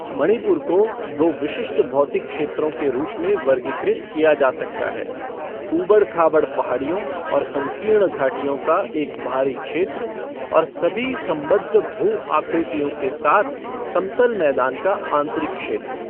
मणिपुर को दो विशिष्ट भौतिक क्षेत्रों के रूप में वर्गीकृत किया जा सकता है ऊबड़ खाबड़ पहाड़ियों और संकीर्ण घाटियों का एक बाहरी क्षेत्र, और सभी संबद्ध भू आकृतियों के साथ समतल मैदान का आंतरिक क्षेत्र।